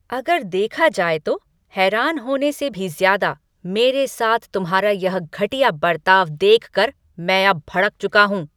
अगर देखा जाए तो, हैरान होने से भी ज़्यादा, मेरे साथ तुम्हारा यह घटिया बरताव देखकर मैं अब भड़क चुका हूँ।